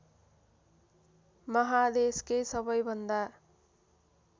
माहादेशकै सबैभन्दा